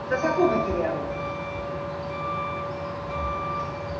Madame la Présidente, je propose un amendement oral après le paragraphe